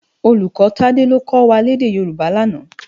Ólúkò Tade ló kò wá lèdè Yoruba làná